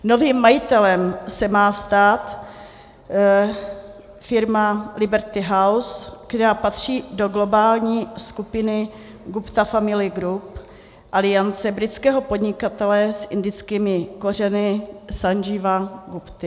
Novým majitelem se má stát firma Liberty House, která patří do globální skupiny Gupta Family Group Alliance britského podnikatele s indickými kořeny Sandžíva Gupty.